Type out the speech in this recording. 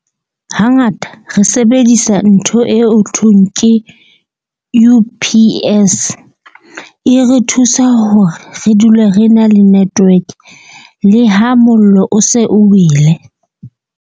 Hangata re sebedisa ntho eo thweng ke U_P_S e re thusa hore re dule re na le network le ha mollo o se o wele.